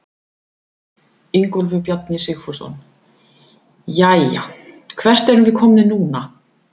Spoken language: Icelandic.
Ingólfur Bjarni Sigfússon: Jæja, hvert erum við komnir núna?